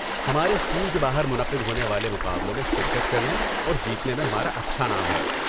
ہمارے اسکول کے باہر منعقد ہونے والے مقابلوں میں شرکت کرنے اور جیتنے میں ہمارا اچھا نام ہے۔